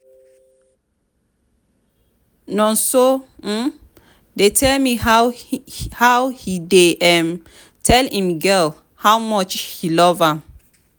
nonso um dey tell me how he dey um tell im girl how much he love am.